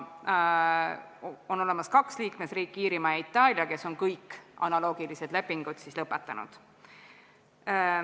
On kaks liikmesriiki, Iirimaa ja Itaalia, kes on kõik analoogilised lepingud lõpetanud.